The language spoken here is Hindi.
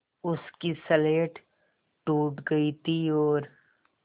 उसकी स्लेट टूट गई थी और